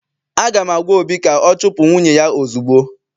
Aga m agwa obi ka ọ chupu nwunye ya ozugbo!